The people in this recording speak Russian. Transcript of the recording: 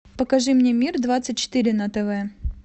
покажи мне мир двадцать четыре на тв